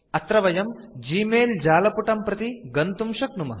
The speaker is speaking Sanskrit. अत्र वयं ग्मेल जालपुटं प्रति गन्तुं शक्नुमः